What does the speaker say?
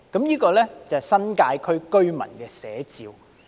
這是新界區居民的寫照。